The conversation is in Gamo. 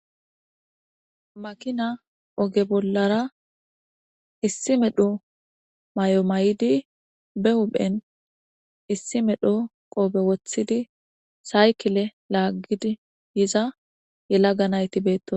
Makina oge bollara issi medho may'o may'idi be huphen issi medho qoobe wothidi saykile laaggid yiza yelaga nayti beetto.